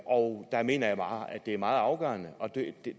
og der mener jeg bare at det er meget afgørende